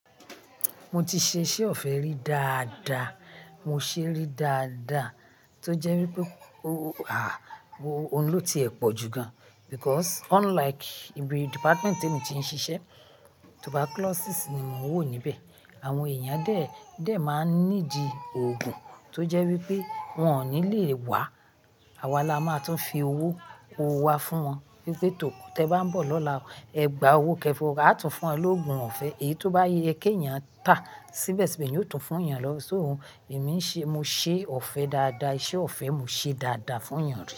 Mo ti ṣe iṣẹ́ ọ̀fẹ́ rí dáadáa, mo ṣé rí dáadáa tó jẹ́ wípé owó, à, o ohun lo ti ẹ̀ pọ̀ jù gan. Because unlike ibi department tí èmi ti ń ṣiṣẹ́, tuberculosis ni mon ń wò níbẹ̀. Àwọn èèyàn dẹ́ẹ̀, dẹ́ẹ̀ máa ń ní di òògùn tó jẹ́ wípé wón ò ní le wá. Àwa la máa tún fi owó owó wa fún wọn wípé tò tí ẹ bá ń bọ̀ lọ́la, ẹ gba owó kẹfọ, a tún fún won lóògùn ọ̀fẹ́. Èyí tó bá yẹ kí èèyàn tà síbẹ̀síbẹ̀, yóò tún fún èèyàn lọ. So èmi ń ṣe, mo ṣe ọ̀fẹ́ dáadáa, iṣẹ́ ọ̀fẹ́ mo ṣe dáadáa fún èèyàn ri.